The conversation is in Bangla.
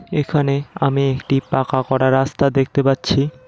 এখানে আমি একটি পাকা করা রাস্তা দেখতে পাচ্ছি।